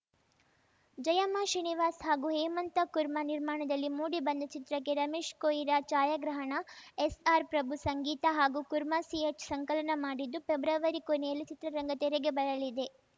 ಜಯಮ್ಮ ಶ್ರೀನಿವಾಸ್‌ ಹಾಗೂ ಹೇಮಂತ ಕುರ್ಮಾ ನಿರ್ಮಾಣದಲ್ಲಿ ಮೂಡಿಬಂದ ಚಿತ್ರಕ್ಕೆ ರಮೇಶ್‌ ಕೊಯಿರ ಛಾಯಾಗ್ರಹಣ ಎಸ್‌ಆರ್‌ ಪ್ರಭು ಸಂಗೀತ ಹಾಗೂ ಕುರ್ಮಾ ಸಿಎಚ್‌ ಸಂಕಲನ ಮಾಡಿದ್ದು ಪೆಬ್ರವರಿ ಕೊನೆಯಲ್ಲಿ ಚಿತ್ರ ತೆರೆಗೆ ಬರಲಿದೆ